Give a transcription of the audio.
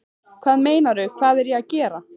Hvað meinarðu, hvað er ég að gera?